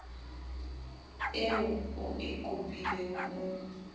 eo o e kopileng o